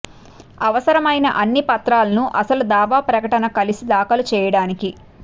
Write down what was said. అవసరమైన అన్ని పత్రాలను అసలు దావా ప్రకటన కలిసి దాఖలు చేయడానికి